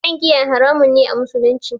Shan giya haramun ne a musulunci